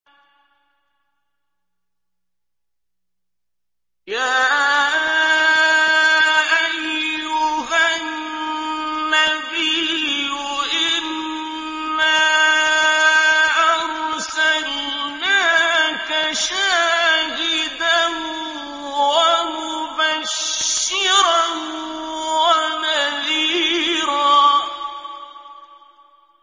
يَا أَيُّهَا النَّبِيُّ إِنَّا أَرْسَلْنَاكَ شَاهِدًا وَمُبَشِّرًا وَنَذِيرًا